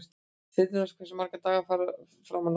Þyrnirós, hversu margir dagar fram að næsta fríi?